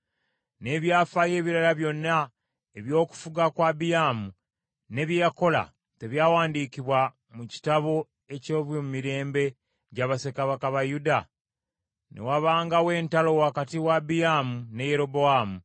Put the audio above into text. N’ebyafaayo ebirala byonna eby’okufuga kwa Abiyaamu, ne bye yakola, tebyawandiikibwa mu kitabo eky’ebyomumirembe gya bassekabaka ba Yuda? Ne wabangawo entalo wakati wa Abiyaamu ne Yerobowaamu.